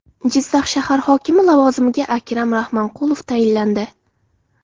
Jizzax shahar hokimi lavozimiga Akram Rahmonqulov tayinlandi.